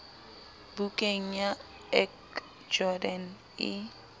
bukeng ya ac jordan e